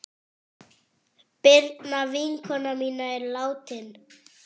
Birna vinkona mín er látin.